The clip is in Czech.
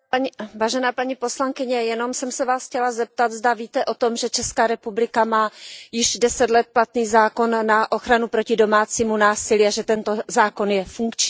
Vážená paní poslankyně, jenom jsem se Vás chtěla zeptat, zda víte o tom, že Česká republika má již deset let platný zákon na ochranu proti domácímu násilí a že tento zákon je funkční.